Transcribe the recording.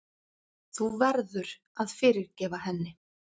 Þú verður að fyrirgefa henni.